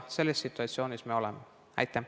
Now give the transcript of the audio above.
Selles situatsioonis me nüüd oleme.